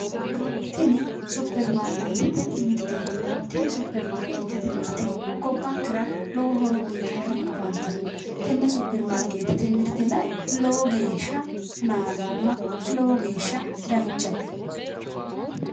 Tini Superimarkeettete mirteeti tini superimarkeettete mirte gobbankera lowo horo uyiitanni afantannno tenne superimarkeettete mirte la"e lowo geeshsha nadoomma lowo geeshsha danchate